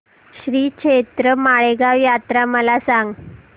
श्रीक्षेत्र माळेगाव यात्रा मला सांग